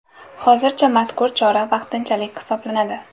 Hozircha mazkur chora vaqtinchalik hisoblanadi.